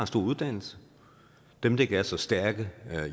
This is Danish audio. stor uddannelse dem der ikke er så stærke